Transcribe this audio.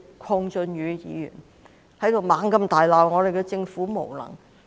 鄺俊宇議員大罵政府無能。